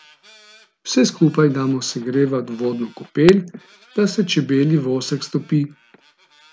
Vse skupaj damo segrevat v vodno kopel, da se čebelji vosek stopi.